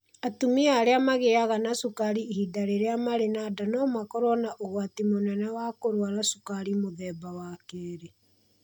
Atumia arĩa magĩaga na cukari ihinda rĩrĩa marĩ na nda no makorũo na ũgwati mũnene wa kũrũara cukari wa mũthemba wa kerĩ.